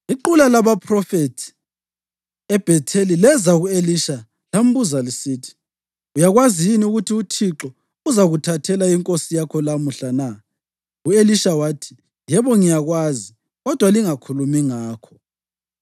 Iqula labaphrofethi eBhetheli leza ku-Elisha lambuza lisithi: “Uyakwazi yini ukuthi uThixo uzakuthathela inkosi yakho lamuhla na?” U-Elisha wathi, “Yebo, ngiyakwazi, kodwa lingakhulumi ngakho.”